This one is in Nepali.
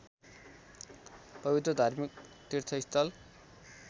पवित्र धार्मिक तीर्थस्थल